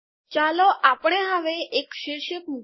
ચાલો આપણે હવે એક શીર્ષક મુકીએ